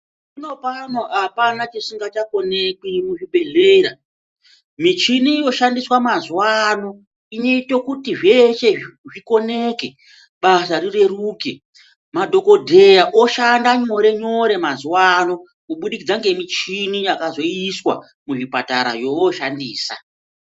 Hino pano hapana chisingachakonekwi muchibhedhlera. Michini yoshandiswa mazuva ano inoite kuti zveshe zvikoneke, basa rireruke. Madhogodheya oshanda nyore-nyore mazuva ano kubudikidza ngemichini yakazoiswa muzvipatara yovoshandisa.